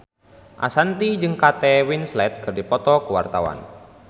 Ashanti jeung Kate Winslet keur dipoto ku wartawan